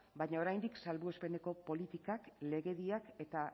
baina oraindik salbuespeneko politikak legediak eta